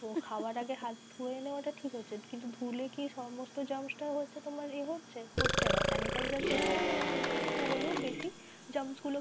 তো খাওয়ার আগে হাত ধুয়ে নেওয়া টা ঠিক হচ্ছে কিন্তু হাত ধুলে কি সমস্ত germs টা তোমার এ হচ্ছে? হচ্ছে না sanitizer কি করে মানে একটু হলেও বেশি germs গুলো